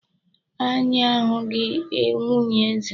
Anyị a hụghị nwunye eze.